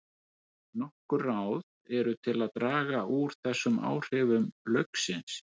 Nokkur ráð eru til að draga úr þessum áhrifum lauksins.